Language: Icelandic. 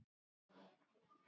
Því gat ég ekki svarað.